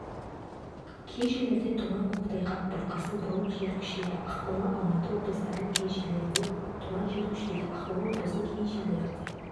кей жерлерде тұман көктайғақ бұрқасын болып жел күшейеді ақмола алматы облыстарының кей жерлерінде тұман жел күшейеді ақмола облысының кей жерлерінде